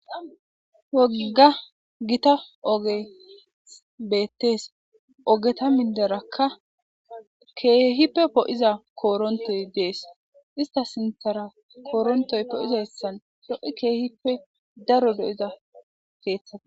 Wogga gita oge beettees ogeta minderakka keehippe poo7iza koorontoy dees ista sinthara koorontoy po7izassan lo7i keehippe daro do7iza keeththata